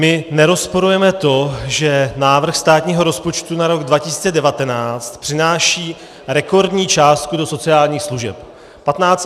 My nerozporujeme to, že návrh státního rozpočtu na rok 2019 přináší rekordní částku do sociálních služeb.